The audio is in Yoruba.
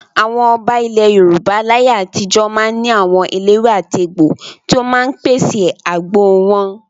Àwọn ọba ilẹ̀ Yorùbá láyé àtijó máa ń ní àwọn eléwé-àtegbò tí ó máa ń pèsè àgbo wọn.